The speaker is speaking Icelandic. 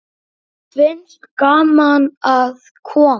Þeim finnst gaman að koma.